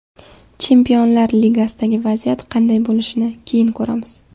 Chempionlar Ligasidagi vaziyat qanday bo‘lishini keyin ko‘ramiz.